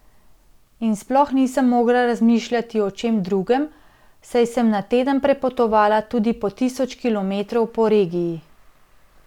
In sploh nisem mogla razmišljati o čem drugem, saj sem na teden prepotovala tudi po tisoč kilometrov po regiji.